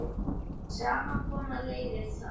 Saman koma leiðir þar.